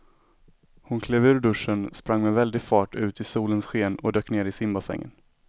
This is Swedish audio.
Hon klev ur duschen, sprang med väldig fart ut i solens sken och dök ner i simbassängen.